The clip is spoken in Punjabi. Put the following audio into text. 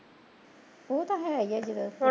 ਉਹ ਤਾਂ ਹੈ ਹੀਂ ਜਦੋਂ